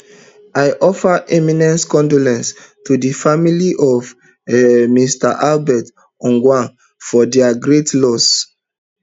i offer immense condolences to di family of mr albert ojwang for dia great loss